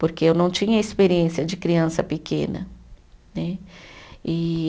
Porque eu não tinha experiência de criança pequena, né? E